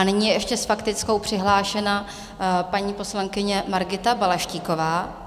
A nyní je ještě s faktickou přihlášena paní poslankyně Margita Balaštíková.